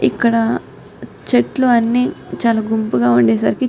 ఇక్కడ చెట్లు అన్నీ చాల గుంపుగా ఉండేసరికి --